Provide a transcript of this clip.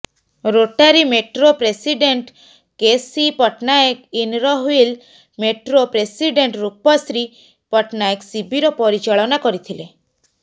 Rotary metro president K C Pattanayak Inner Wheel metro president Rupashree Pattanayak ଶିବିର ପରିଚାଳନା କରିଥିଲେ